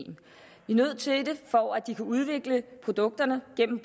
vi nødt til for at de kan udvikle produkterne gennem